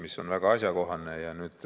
Küsimus on väga asjakohane.